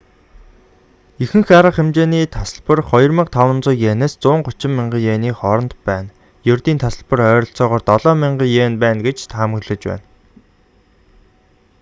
ихэнх арга хэмжээний тасалбар 2,500 иенээс 130,000 иений хооронд байна ердийн тасалбар ойролцоогоор 7,000 иен байна гэж таамаглаж байна